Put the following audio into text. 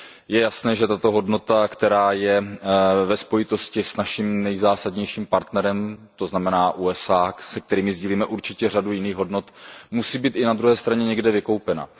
Je jasné, že tato hodnota, která je ve spojitosti s naším nejzásadnějším partnerem, to znamená USA, se kterými sdílíme určitě řadu jiných hodnot, musí být i na druhé straně někde vykoupena.